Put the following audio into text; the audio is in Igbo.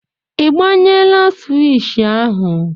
Ị gbanyela swishì ahụ?